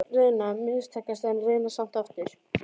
Reyna- mistakast, en reyna samt aftur.